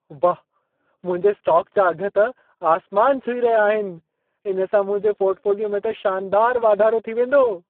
वाह, मुंहिंजे स्टॉक जा अघ त आसमान छुही रहिया आहिनि! इन सां मुंहिंजे पॉर्टफोलियो में त शानदार वाधारो थीं वेंदो।